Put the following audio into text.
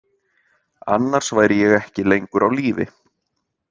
Annars væri ég ekki lengur á lífi.